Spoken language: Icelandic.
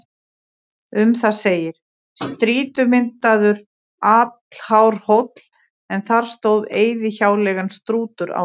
Um það segir: Strýtumyndaður, allhár hóll, en þar stóð eyðihjáleigan Strútur áður.